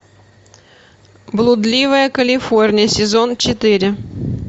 блудливая калифорния сезон четыре